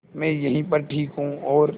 मैं यहीं पर ठीक हूँ और